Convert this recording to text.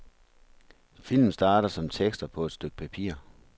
Film starter som tekster på et stykke papir.